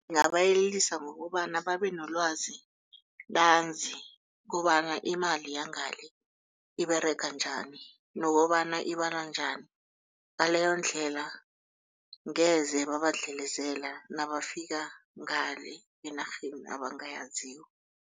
Ngingabayelelisa ngokobana babe nelwazi ntanzi kobana imali yangale iberega njani nokobana ibalwa njani. Ngaleyondlela angeze babadlelezela nabafika ngale enarheni abangayaziko.